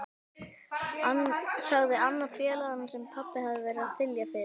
sagði annar félaganna sem pabbi hafði verið að þylja yfir.